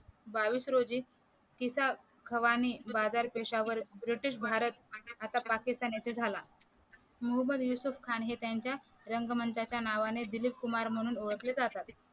बावीस रोजी खिसा खवानी बाजार पेशावर ब्रिटिश भारत आता पाकिस्तान येथे झाला मोहम्मद युसूफ खान हे त्यांच्या रंगमंचाच्या नावाने दिलीप कुमार म्हणून ओळखले जातात